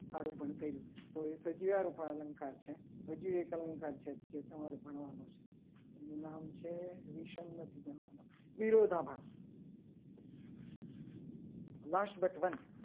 આરોપણ કરી તો એ સજીવારોપણ અલંકાર છે. હજુ એક અલંકાર છે જે તમારે ભણવાનું છે. એનું નામ છે. વિષમતા નથી. ભણવાનું વિરોધાભા last but one